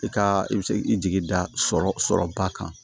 I ka i bɛ se k'i jigi da sɔrɔ sɔrɔba kan